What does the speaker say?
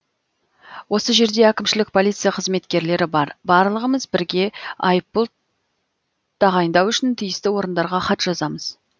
осы жерде әкімшілік полиция қызметкерлері бар барлығымыз бірге айыппұл тағайындау үшін тиісті орындарға хат жазамыз